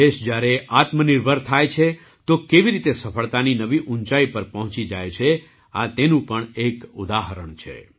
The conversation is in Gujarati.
દેશ જ્યારે આત્મનિર્ભર થાય છે તો કેવી રીતે સફળતાની નવી ઊંચાઈ પર પહોંચી જાય છે તે તેનું પણ એક ઉદાહરણ છે